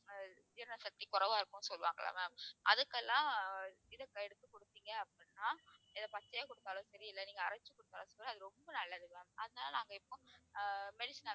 ஜீரண சக்தி குறைவா இருக்கும்னு சொல்வாங்கல்ல ma'am அதுக்கெல்லாம் இதை எடுத்து கொடுத்தீங்க அப்படின்னா இதை பச்சையா கொடுத்தாலும் சரி இல்லை நீங்க அரைச்சு அது ரொம்ப நல்லது ma'am அதனால நாங்க இப்போ ஆஹ் medicine ஆவே